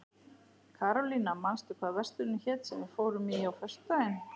Karólína, manstu hvað verslunin hét sem við fórum í á föstudaginn?